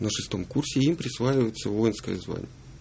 на шестом курсе им присваивается воинское звание